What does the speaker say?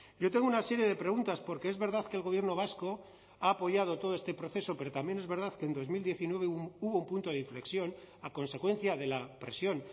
yo tengo una serie de preguntas porque es verdad que el gobierno vasco ha apoyado todo este proceso pero también es verdad que en dos mil diecinueve hubo un punto de inflexión a consecuencia de la presión